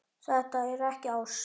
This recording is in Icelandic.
Þetta er ekki ást.